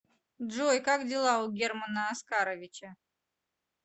джой как дела у германа оскаровича